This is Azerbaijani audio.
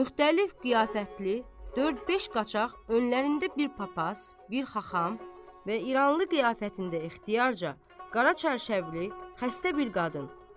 Müxtəlif qiyafətli dörd-beş qaçaq önlərində bir papas, bir xaxam və İranlı qiyafətində ixtiyarca qara çarşablı xəstə bir qadın.